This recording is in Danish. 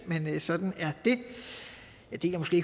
men sådan er det jeg deler måske